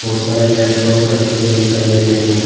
बहोत सारे लैपटॉप रखे हुए दिखाई दे रहे हैं।